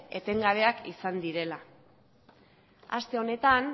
etengabeak izan direla haste honetan